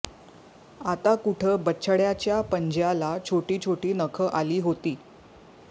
आता कुठं बछ़ड़्याच्या पंज्याला छोटी छोटी नखं आली होती